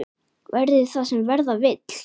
Verði það sem verða vill!